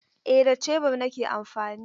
Eh da shebur nake amfani.